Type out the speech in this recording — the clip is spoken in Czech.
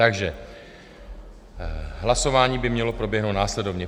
Takže hlasování by mělo proběhnout následovně.